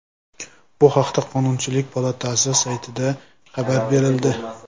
Bu haqda Qonunchilik palatasi saytida xabar berildi .